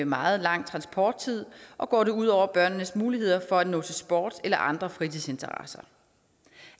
meget langt transporttid og går det ud over børnenes muligheder for at nå til sport eller andre fritidsinteresser